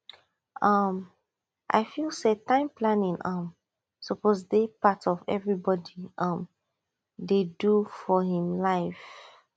um i feel say time planning um suppose dey part of everybody um dey do for him life